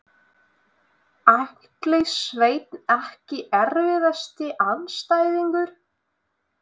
Atli Sveinn EKKI erfiðasti andstæðingur?